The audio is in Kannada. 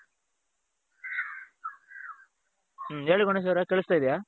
ಹ್ಮ್ ಹೇಳಿ ಗಣೇಶ್ ಅವರೇ ಕೇಳುಸ್ತಾ ಇದ್ಯಾ?